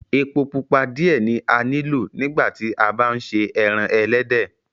Ẹpọ̀ pupa diẹ̀ ni a ní lọ̀ nígbà tí à bá n ṣè ẹran ẹlẹdẹ.